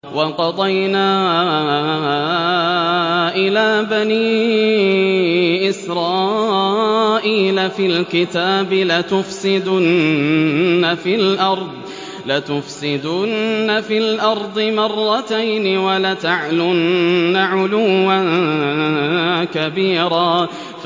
وَقَضَيْنَا إِلَىٰ بَنِي إِسْرَائِيلَ فِي الْكِتَابِ لَتُفْسِدُنَّ فِي الْأَرْضِ مَرَّتَيْنِ وَلَتَعْلُنَّ عُلُوًّا كَبِيرًا